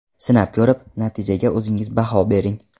Sinab ko‘rib, natijaga o‘zingiz baho bering.